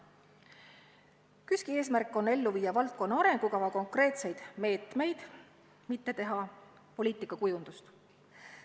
KÜSK-i eesmärk on ellu viia valdkonna arengukava konkreetseid meetmeid, mitte kujundada poliitikat.